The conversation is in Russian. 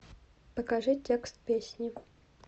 покажи текст песни